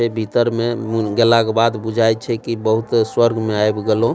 ए भीतर में उम्म गेला के बाद बुझाए छै की बहुत स्वर्ग में आब गेलो।